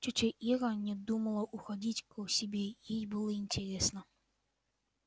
тётя ира не думала уходить к себе ей было интересно